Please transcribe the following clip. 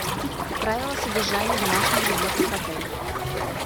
правила содержания домашних животных в отеле